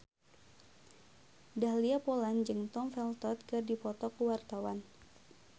Dahlia Poland jeung Tom Felton keur dipoto ku wartawan